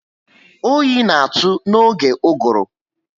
Oyi na atụ n'oge uguru